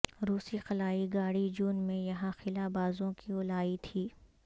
روسی خلائی گاڑی جون میں یہاں خلا بازوں کو لائی تھی